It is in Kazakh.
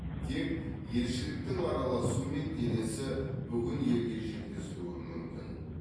тек елшіліктің араласуымен денесі бүгін елге жеткізілуі мүмкін